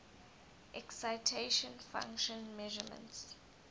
excitation function measurements